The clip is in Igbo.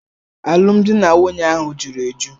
Alụmdi na nwunye ahụ juru eju.